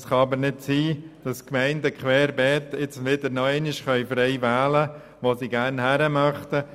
Es kann aber nicht sein, dass die Gemeinden nun querbeet noch einmal frei wählen können, wo sie gerne hingehen möchten.